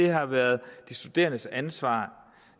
har været de studerendes ansvar